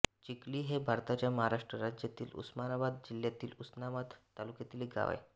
चिखली हे भारताच्या महाराष्ट्र राज्यातील उस्मानाबाद जिल्ह्यातील उस्मानाबाद तालुक्यातील एक गाव आहे